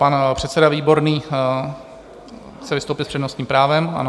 Pan předseda Výborný chce vystoupit s přednostním právem, ano?